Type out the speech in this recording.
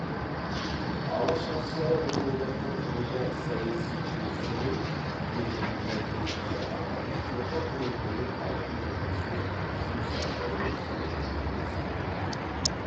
алаш арыстары бұл одақты құруда саяси күресті қойып тікелей мәдениетке ағартушылыққа көңіл бөліп халықтың мүддесіне жұмыс атқаруымыз керек деген мақсат қойған